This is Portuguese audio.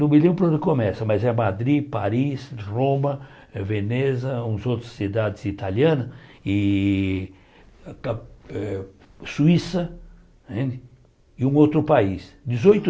Não me lembro onde começa, mas é Madrid, Paris, Roma, Veneza, umas outras cidades italianas, e pa eh Suíça, não é e um outro país. Dezoito